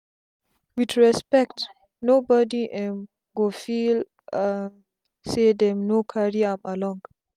with respect no bodi um go feel um say dem no carry am along